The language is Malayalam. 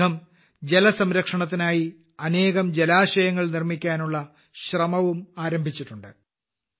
ഈ സംഘം ജലസംരക്ഷണത്തിനായി അനേകം ജലാശയങ്ങൾ നിർമ്മിക്കാനുള്ള ശ്രമവും ആരംഭിച്ചിട്ടുണ്ട്